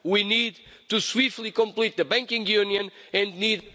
We need to swiftly complete the banking union and need...